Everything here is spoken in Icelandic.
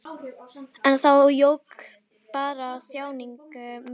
En það jók bara þjáningu mína.